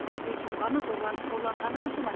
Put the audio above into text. көз жұмғаны зорланып қорланғаны қаншама